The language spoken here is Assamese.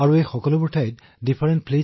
এইবোৰ ঠাইলৈ গৈছে IL76 C17 বিমান